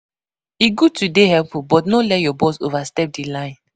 E good to dey helpful, but no let your boss overstep di line.